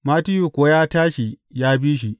Mattiyu kuwa ya tashi ya bi shi.